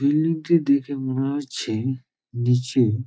Building -টি দেখে মনে হচ্ছে নিচু।